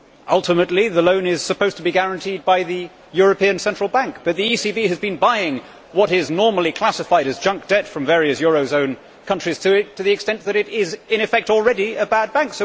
Ultimately the loan is supposed to be guaranteed by the European Central Bank, but the ECB has been buying what is normally classified as junk debt from various eurozone countries to the extent that it is in effect already a bad bank.